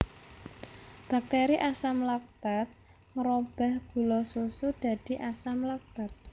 Bakteri Asam laktat ngrobah gula susu dadi asam laktat